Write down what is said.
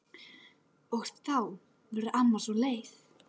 Og þá verður amma svo leið.